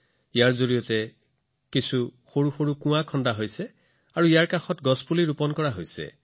ইয়াৰ অধীনত সৰু সৰু কুঁৱা নিৰ্মাণ কৰা হয় আৰু ইয়াক সুৰক্ষিত কৰিবলৈ ওচৰতে গছ আৰু বৃক্ষ ৰোপণ কৰা হয়